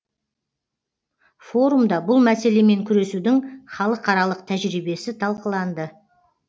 форумда бұл мәселемен күресудің халықаралық тәжірибесі талқыланды